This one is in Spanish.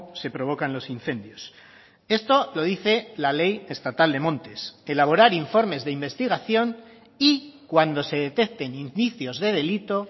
se provocan los incendios esto lo dice la ley estatal de montes elaborar informes de investigación y cuando se detecten indicios de delito